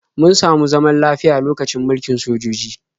Mun samu zaman lafiya lokacin mulkin sojoji.